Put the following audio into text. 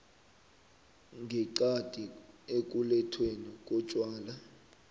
ngeqadi ekulethweni kotjwala